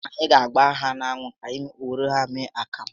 Any ga agba ha n'anwụ ka anyị were ya mee akamụ